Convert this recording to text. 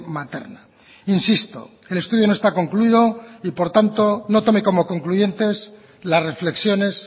materna insisto el estudio no está concluido y por tanto no tome como concluyentes las reflexiones